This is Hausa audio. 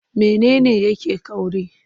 Mene ne yake ƙauri?